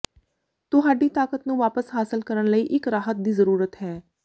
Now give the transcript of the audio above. ਤੁਹਾਡੀ ਤਾਕਤ ਨੂੰ ਵਾਪਸ ਹਾਸਲ ਕਰਨ ਲਈ ਇੱਕ ਰਾਹਤ ਦੀ ਜ਼ਰੂਰਤ ਹੈ